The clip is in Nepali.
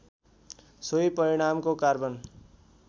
सोही परिणामको कार्बन